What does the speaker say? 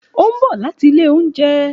Ó ń bọ̀ láti ilé oúnjẹ.